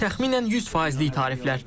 Təxminən 100 faizlik tariflər.